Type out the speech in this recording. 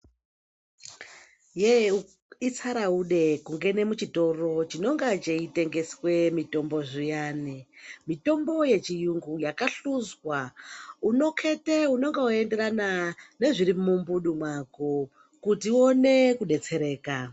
Yeee itsaraude kungene muchitoro chinonga cheitengeswe mithombo zviyani. Mitombo yechiyungu yakahluzwa Unokhete unonga weienderana nezviri mumbudu mwako kuti uone kudetsereka.